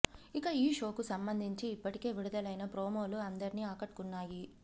ఇక ఈ షోకు సంబంధించి ఇప్పటికే విడుదలైన ప్రోమోలు అందరినీ ఆకట్టుకున్నాయి